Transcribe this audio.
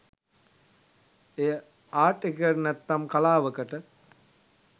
එය ආට් එකකට නැත්නම් කලාවකට